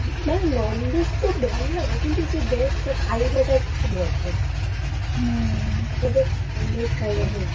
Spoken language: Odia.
ମାନେ non-veg ତ ଭଲ ଲାଗେ, କିନ୍ତୁ ସେ veg ଟା ଖାଇବାଟା କିନ୍ତୁ ଭଲ ସବୁବେଳେ non-veg ଖାଇବା ଟା ଭଲ